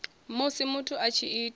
musi muthu a tshi ita